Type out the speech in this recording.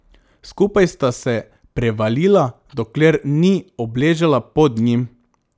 Skupaj sta se prevalila, dokler ni obležala pod njim.